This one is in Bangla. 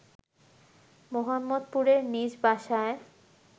মোহাম্মদপুরের নিজ বাসায়